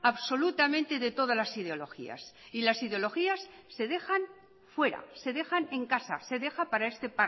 absolutamente de todas las ideologías y las ideologías se dejan fuera se dejan en casa se deja para este